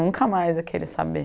Nunca mais ia querer saber.